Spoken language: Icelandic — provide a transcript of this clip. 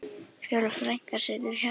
Fjóla frænka situr hjá þeim.